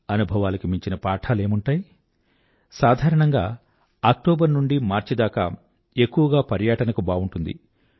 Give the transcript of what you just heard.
అనుభవాలకు మించిన పాఠాలేముంటాయిసాధారణంగా అక్టోబర్ నుండి మార్చి దాకా ఎక్కువగా పర్యాటనకు బావుంటుంది